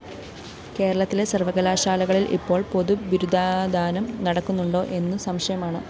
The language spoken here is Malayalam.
കേരളത്തിലെ സര്‍വകലാശാലകളില്‍ ഇപ്പോള്‍ പൊതു ബിരുദദാനം നടക്കുന്നുണ്ടോ എന്നു സംശയമാണ്